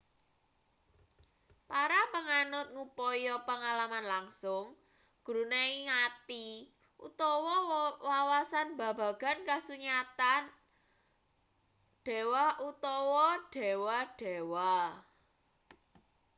para panganut ngupaya pangalaman langsung gruneking ati utawa wawasan babagan kasunyatan/dewa utawa dewa-dewa